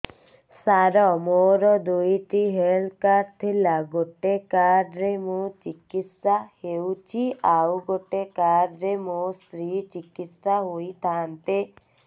ସାର ମୋର ଦୁଇଟି health card ଥିଲା ଗୋଟେ କାର୍ଡ ରେ ମୁଁ ଚିକିତ୍ସା ହେଉଛି ଆଉ ଗୋଟେ କାର୍ଡ ରେ ମୋ ସ୍ତ୍ରୀ ଚିକିତ୍ସା ହୋଇଥାନ୍ତେ